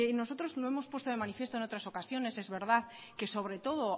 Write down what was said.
nosotros no hemos puesto de manifiesto en otras ocasiones es verdad que sobre todo